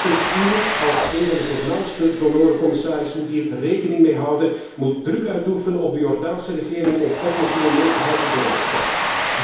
De Europese Unie, als een van de voornaamste donoren, commisaris, moet hier rekening mee houden, moet druk uitoefenen op de Jordaanse regering om oplossingen mee te helpen bewerkstelligen.